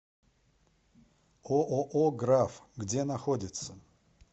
ооо граф где находится